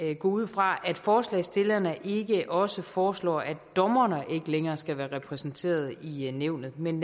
at gå ud fra at forslagsstillerne ikke også foreslår at dommerne ikke længere skal være repræsenteret i nævnet men